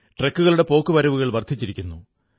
ട്രക്കുകളുടെ പോക്കുവരവുകൾ വർധിച്ചിരിക്കുന്നു